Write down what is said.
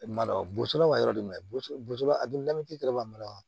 Malo boso la wa yɔrɔ de man ɲi kosɛbɛ a donna jiri yɛrɛ la malo